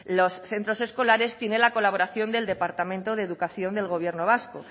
los centros escolares tiene la colaboración del departamento de educación del gobierno vasco